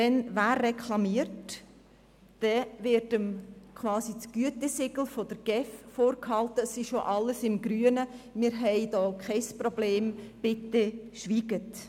Wenn sich jemand beschwert, wird ihm gewissermassen das «Gütesiegel» der GEF vorgehalten und gesagt, es sei alles im grünen Bereich, es bestehe kein Problem und man solle bitte schweigen.